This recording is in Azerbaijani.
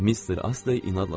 Mister Astley inadla susdu.